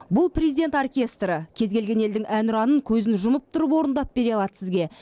бұл президент оркестрі кез келген елдің әнұранын көзін жұмып тұрып орындап бере алады сізге